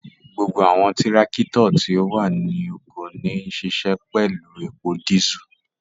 Gbogbo awọn tirakito ti o wa ni oko wa nṣiṣẹ pẹlu epo disú